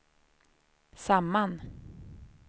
samman